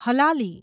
Halali